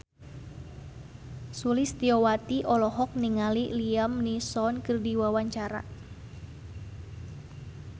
Sulistyowati olohok ningali Liam Neeson keur diwawancara